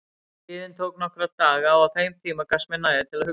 Biðin tók nokkra daga og á þeim tíma gafst mér næði til að hugsa.